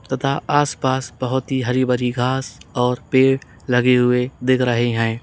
तथा आस पास बहुत ही हरी भरी घास और पेड़ लगे हुए दिख रहे हैं।